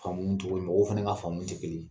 Faamuni togo mɔgɔw fɛnɛ ka faamuw te kelen ye.